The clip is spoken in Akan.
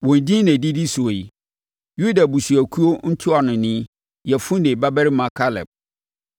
“Wɔn edin na ɛdidi soɔ yi: “Yuda abusuakuo ntuanoni, Yefune babarima Kaleb;